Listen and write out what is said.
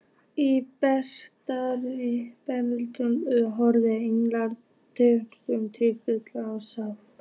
Í bernsku horfir Egill með tilhlökkun til fullorðinsára.